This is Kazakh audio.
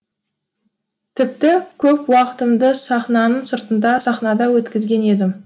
тіпті көп уақытымды сахнаның сыртында сахнада өткізген едім